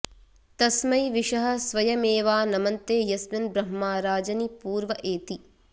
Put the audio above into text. तस्मै॒ विशः॑ स्व॒यमे॒वा न॑मन्ते॒ यस्मि॑न्ब्र॒ह्मा राज॑नि॒ पूर्व॒ एति॑